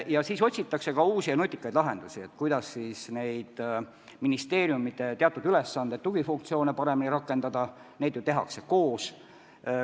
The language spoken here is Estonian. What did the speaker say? Ja otsitakse ka uusi ja nutikaid lahendusi, kuidas ministeeriumide teatud ülesandeid, tugifunktsioone paremini rakendada – paljut ju tehakse koos.